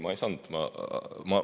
Ma ei saanud, ma olen …